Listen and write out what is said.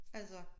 Altså